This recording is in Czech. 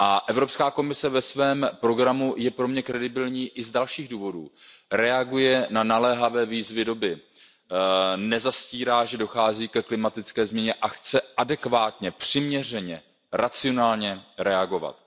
Evropská komise ve svém programu je pro mě důvěryhodná i z dalších důvodů, reaguje na naléhavé výzvy doby, nezastírá, že dochází ke klimatické změně a chce adekvátně, přiměřeně, racionálně reagovat.